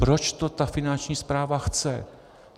Proč to ta Finanční správa chce?